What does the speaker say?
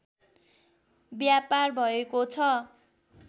व्यापार भएको छ